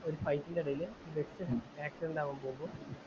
ഒരു ഫയിറ്റിന്റെ ഇടയിൽ ബസ് ആക്സിഡെൻറ് ആവാൻ പോകുമ്പോൾ